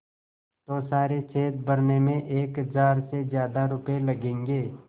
तो सारे छेद भरने में एक हज़ार से ज़्यादा रुपये लगेंगे